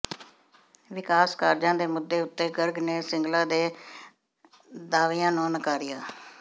ਵਿਕਾਸ ਕਾਰਜਾਂ ਦੇ ਮੁੱਦੇ ਉੱਤੇ ਗਰਗ ਨੇ ਸਿੰਗਲਾ ਦੇ ਦਾਅਵਿਆਂ ਨੰੂ ਨਕਾਰਿਆ